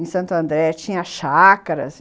em Santo André, tinha chácaras.